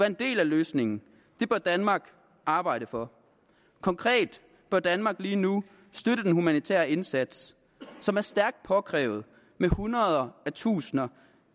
en del af løsningen det bør danmark arbejde for konkret bør danmark lige nu støtte den humanitære indsats som er stærkt påkrævet med hundredetusinder